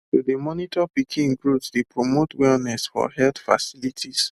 to dey monitor pikin growth dey promote wellness for health facilities